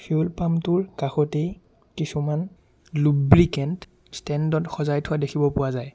তেলৰ পাম্প টোৰ কাষতেই কিছুমান লোব্ৰিকেন্ট ষ্টেণ্ড ত সজাই থোৱা দেখিব পোৱা যায়।